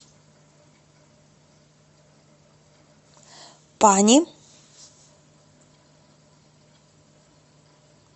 пани